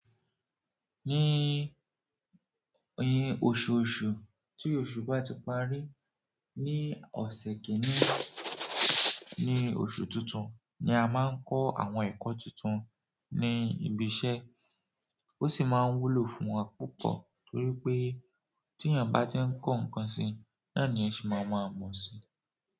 Ní, ní oṣù oṣù tí oṣù bá ti parí, ní ọ̀sẹ̀ kìíní ní oṣù tuntun ni a máa ń kọ́ àwọn ẹ̀kọ́ tuntun ní ibi iṣẹ́. Ó sì máa ń wúlò fún wa púpọ̀ torí pé tí èèyàn bá ti ń kọ́ nǹkan si, náà ni ẹ́eyan se máa ma mọ̀ ọ́ si.